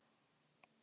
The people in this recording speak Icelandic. jörðin er því flöt